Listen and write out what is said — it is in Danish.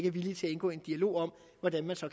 er villige til at indgå i en dialog om hvordan man så